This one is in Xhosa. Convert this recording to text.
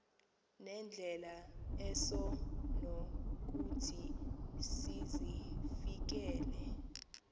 nendlela esonokuthi sizifikelele